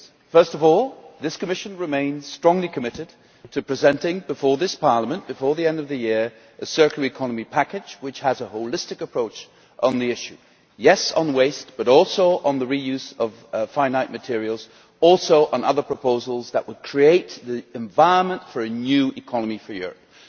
First of all, this Commission remains strongly committed to presenting before this Parliament and before the end of the year a circular economy package which has a holistic approach on the issue yes, on waste, but also on the re-use of finite materials and on other proposals that would create the environment for a new economy for Europe.